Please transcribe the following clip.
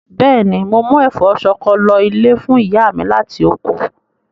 Bẹ́ẹ̀ni, mo mú ẹ̀fọ́ ṣọkọ lọ ilé fún ìyá mi láti oko.